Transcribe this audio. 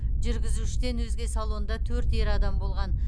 жүргізушіден өзге салонда төрт ер адам болған